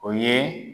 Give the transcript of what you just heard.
O ye